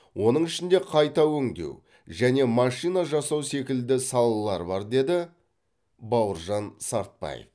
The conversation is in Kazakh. оның ішінде қайта өңдеу және машина жасау секілді салалар бар деді бауыржан сартбаев